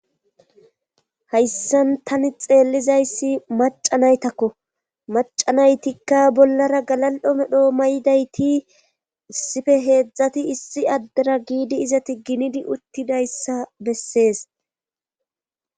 Hayssan tani xeellizayssi macanaytakko macanaytikka bollara galal'o medho may'dayti issife heedzdzati issi addera giidi izati ginidi uttidayssa bessees.